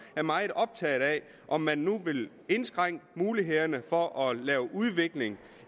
er meget optaget af om man nu vil indskrænke mulighederne for at lave udvikling